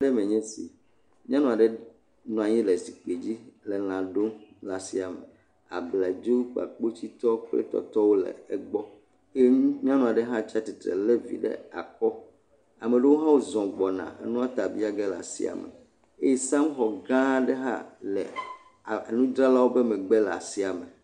Asi me nye si. Nyɔnua ɖe nɔa nyi le zikpui dzi le lã ɖom le asia me. Abladzo, kpakpositɔ kple tɔtɔwo le egbɔ ye nyɔnua ɖe hã tsia tsitre le vi aɖe asi le akɔ. Ame aɖewo hã zɔ gbɔna nua ta biage le asaia me. Eye sabɔd gã aɖe hã le a enudzralawo ƒe megbe le asia me.